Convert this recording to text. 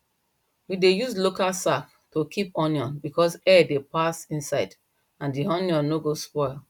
we dey use local sack to keep onion because air dey pass inside and di onion no go spoil